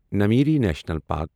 Nameri national park